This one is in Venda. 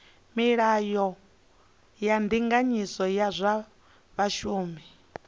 milayo ya ndinganyiso ya zwa vhashumi